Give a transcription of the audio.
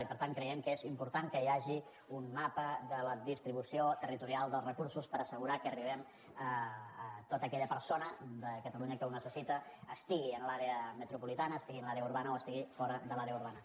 i per tant creiem que és important que hi hagi un mapa de la distribució territorial dels recursos per assegurar que arribem a tota aquella persona de catalunya que ho necessita estigui en l’àrea metropolitana estigui en l’àrea urbana o estigui fora de l’àrea urbana